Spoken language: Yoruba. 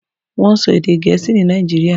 Wọ́n ń sọ èdè Gẹ̀ẹ́sì ní Nàìjíríà.